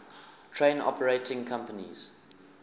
train operating companies